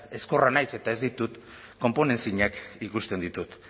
ezkorra naiz eta ez ditut konponezinak ikusten ditut